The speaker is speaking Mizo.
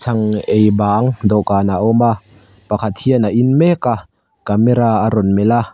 chhang ei bang dawhkanah a awm a pakhat hian a in mek a camera a rawn melh a.